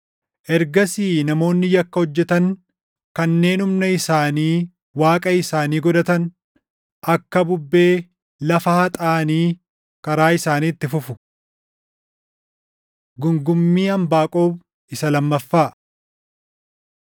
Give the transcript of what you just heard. Ergasii namoonni yakka hojjetan kanneen humna isaanii // waaqa isaanii godhatan, akka bubbee lafa haxaaʼanii karaa isaanii itti fufu.” Gungummii Anbaaqoom isa Lammaffaa